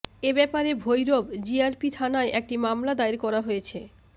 এ ব্যাপারে ভৈরব জিআরপি থানায় একটি মামলা দায়ের করা হয়েছে